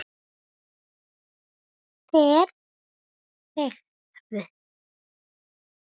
Þeir þögðu.